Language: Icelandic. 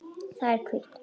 Það er hvítt.